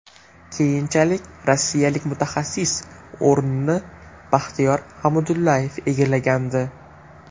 Keyinchalik rossiyalik mutaxassis o‘rnini Baxtiyor Hamidullayev egallagandi.